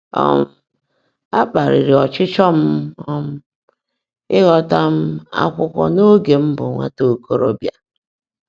um Á kpá̀lị́rị́ ọ́chịchọ́ m um íghọ́tá um ákwụ́kwọ́ n’óge m bụ́ nwátá ókoòróbị́á.